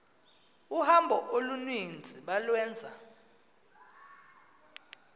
uhambo oluninzi balwenza